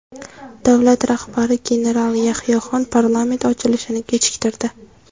Davlat rahbari general Yahyoxon parlament ochilishini kechiktirdi.